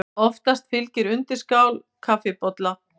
Oftast fylgir undirskál kaffibolla.